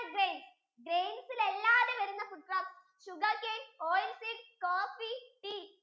food granins, grains യിൽ അല്ലാതെ വരുന്ന food crops, sugarcane, oil seeds, coffee, tea